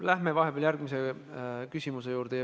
Läheme vahepeal järgmise küsija juurde.